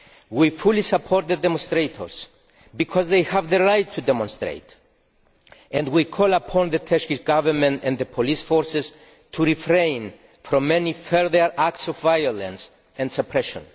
We fully support the demonstrators because they have the right to demonstrate and we call upon the Turkish Government and the police forces to refrain from any further acts of violence and suppression.